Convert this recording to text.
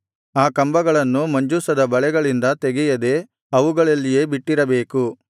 ಆ ಕಂಬಗಳನ್ನು ಮಂಜೂಷದ ಬಳೆಗಳಿಂದ ತೆಗೆಯದೇ ಅವುಗಳಲ್ಲಿಯೇ ಬಿಟ್ಟಿರಬೇಕು